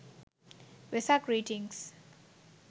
vesak greetings